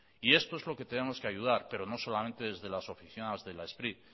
esto es lo que tenemos que ayudar pero no solamente desde las oficinas de las spri